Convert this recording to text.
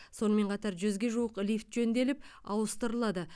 сонымен қатар жүзге жуық лифт жөнделіп ауыстырылады